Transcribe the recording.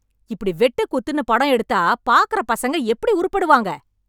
இப்படி வெட்டு குத்து என்று படம் எடுத்தா பாக்குற பசங்க எப்படி உருப்படுவாங்க